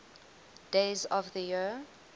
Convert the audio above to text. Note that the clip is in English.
days of the year